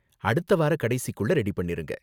அடுத்த வார கடைசிக்குள்ள ரெடி பண்ணிருங்க.